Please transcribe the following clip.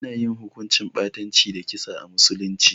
Ana yin hukuncin ɓatanci da kisa a musulunci.